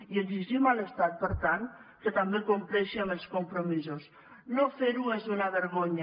i exigim a l’estat per tant que també compleixi amb els compromisos no fer ho és una vergonya